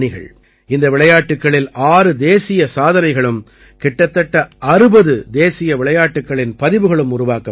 இந்த விளையாட்டுக்களில் ஆறு தேசிய சாதனைகளும் கிட்டத்தட்ட 60 தேசிய விளையாட்டுக்களின் பதிவுகளும் உருவாக்கப்பட்டன